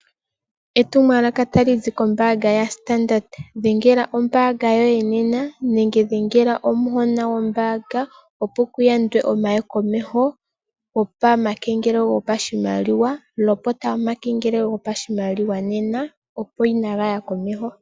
Etumwalaka otali zi kombaanga yao Standard. Dhengela ombaanga yoye nena nenge dhengela omuhona gombaanga opo ku yandwe okuya komeho gomakengelelo gopashimaliwa. Lopota omakengelelo gopashimaliwa nena opo kaaga ye komeho.